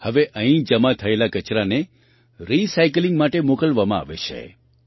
હવે અહીં જમા થયેલા કચરાને રિસાઇકલિંગ માટે મોકલવામાં આવે છે